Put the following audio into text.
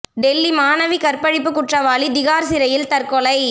டெல்லி மாணவி கற்பழிப்பு குற்றவாளி திகார் சிறையில் தற்கொலை